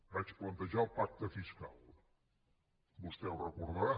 vaig plantejar el pacte fiscal vostè ho deu recordar